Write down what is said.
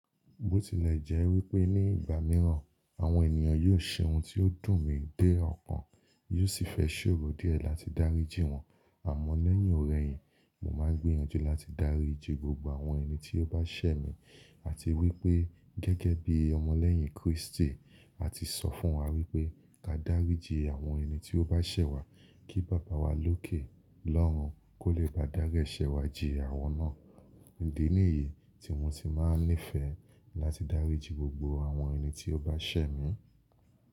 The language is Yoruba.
Bó tilẹ̀ jẹ́ wípé ní ìgbà mìíràn àwọn ènìyàn yóò ṣe ohun tí ó dùn mi dé ọkàn, yóò sì fẹ́ ṣòro díẹ̀ láti dáríjin wọ́n. Àmọ́ lẹ́yìn ọ̀rẹ́ yìn mo máa gbiyanjú láti dáríjin gbogbo àwọn ẹni tí ó bá ṣẹ̀ mí. Àti wípé gẹ́gẹ́ bí ọmọ lẹ́yìn Kristi, àti sọ fún wa wípé ka dáríjin àwọn ẹni tí ó bá ṣẹ̀ wá kí Baba wa lókè lọ́run kó lè bá dári ẹṣẹ̀ wá jìn àwọn náà. Nìdí nìyí tí mo ti máa nífẹ̀ẹ́ láti dáríjin gbogbo àwọn ẹni tí ó bá ṣẹ̀ mí.